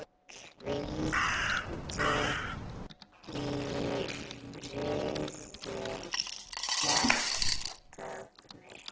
Hvíldu í friði hjartað mitt.